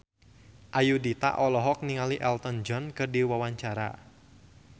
Ayudhita olohok ningali Elton John keur diwawancara